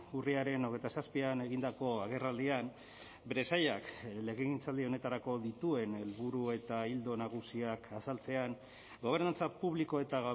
urriaren hogeita zazpian egindako agerraldian bere sailak legegintzaldi honetarako dituen helburu eta ildo nagusiak azaltzean gobernantza publiko eta